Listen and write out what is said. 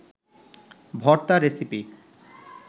ভর্তা রেসিপি